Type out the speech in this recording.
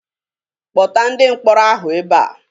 Kpọta ndị mkpọrọ ahụ ebe a!